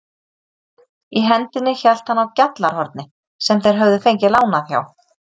Í hendinni hélt hann á GJALLARHORNI sem þeir höfðu fengið lánað hjá